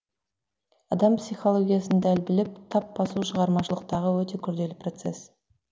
адам психологиясын дәл біліп тап басу шығармашылықтағы өте күрделі процесс